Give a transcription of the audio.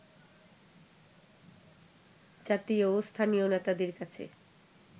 জাতীয় ও স্থানীয় নেতাদের কাছে